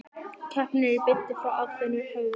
Keppnin er í beinni frá Aþenu, höfuð